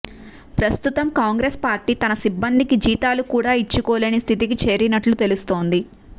ప్రస్తుతం Congress party తన సిబ్బందికి జీతాలు కూడా ఇచ్చుకోలేని స్థితికి చేరినట్లు తెలుస్తోంది